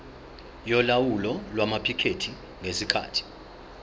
yolawulo lwamaphikethi ngesikhathi